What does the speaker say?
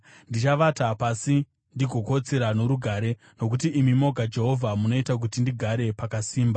Ndichavata pasi ndigokotsira norugare, nokuti imi moga, Jehovha, munoita kuti ndigare pakasimba.